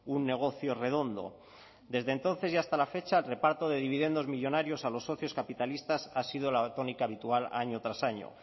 un negocio redondo desde entonces y hasta la fecha el reparto de dividendos millónarios a los socios capitalistas ha sido la tónica habitual año tras año